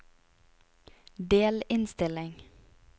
delinnstilling